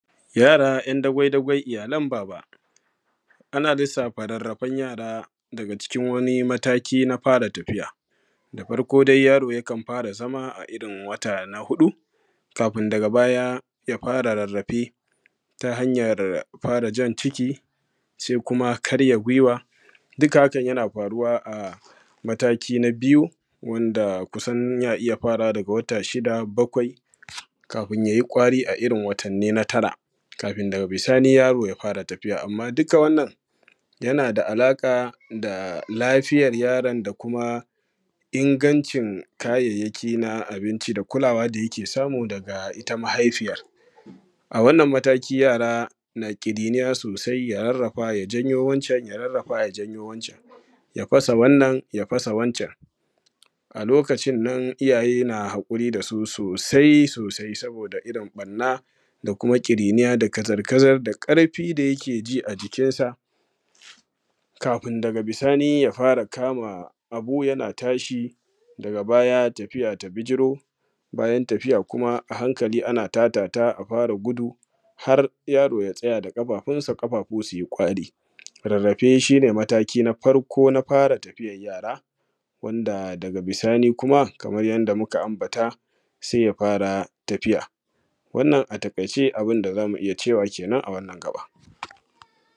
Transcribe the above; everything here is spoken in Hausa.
Yara ‘yan dagwai- dagwai iyalan baba, ana lissafa rarrafen yara daga cikin wani mataki na fara tafiya. Da farko dai yaro yakan fara zama a irin wata na huɗu kafun daga baya ya fara rirrife ta hanyan fara jan ciki se kuma karya giwa, duka yana faruwa a mataki na biyu wanda kusan yana iya farawa daga wata shida, bakwai kafun ya yi kwari a irin watanni na tara kafin yaro ya fara tafiya. Amma duka wannan yana da alaƙa da lafiyar yaron da kuma ingancin kayayyaki na abinci da kulawa da yake samu daga ita mahaifiyan, a wannan mataki yara na ƙirinniya sosai ya rarrafa ya janyo wancan, ya rarrafa ya janyo wancan ya fasa wannan, ya fasa wancan a lokacin nan iyaye na haƙuri da su sosai-sosai; saboda irin banna da kuma ƙirinniya da kazar-kazar da ƙarfi da yake ji a jikinsa kafun daga bisali ya fara kama abu yana tashi daga baya ya tafiya ta bijiro. Bayan tafiya kuma a hankali ana ta dafa a fara gudu har yaro ya tsaya da ƙafafunsa, ƙafafu su yi ƙwari, rarrafe shi ne mataki na farko na fara tafiyan yara wanda daga bisani kuma wanda kamar yadda muka ambata se ya fara tafiya. Wannan a taƙaice abun da za mu iya cewa kenan a wannan gaɓa.